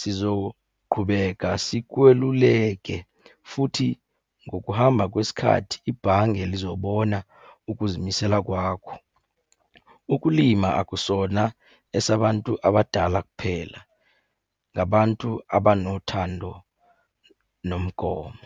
Sizoqhubeka sikweluleke futhi ngokuhamba kwesikhathi ibhange lizobona ukuzimisela kwakho. Ukulima akusona esabantu abadala kuphela, ngabantu abanothando nomgomo.